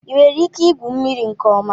Ị nwere ike igwu mmiri nke ọma?